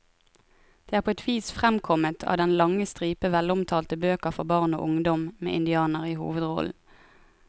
Det er på et vis fremkommet av den lange stripe velomtalte bøker for barn og ungdom med indianere i hovedrollen.